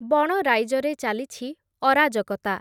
ବଣ ରାଇଜରେ ଚାଲିଛି ଅରାଜକତା ।